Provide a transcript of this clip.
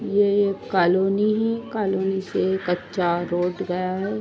यह एक कॉलोनी है कॉलोनी से कच्चा रोड गया है।